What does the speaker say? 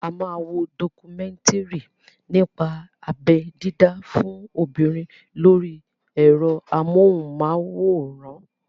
A máa wo dọkumẹ́ńtìrì nípa abẹ́ dídá fún obìnrin lórí ẹ̀rọ amóhùnmáwòrán.